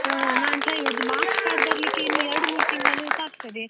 ಹಾ, ನಾನ್ try , ಇದು marks card ಬರ್ಲಿಕ್ಕೆ ಇನ್ನು ಎರಡು ಮೂರು ತಿಂಗಳು ತಾಗ್ತದೆ.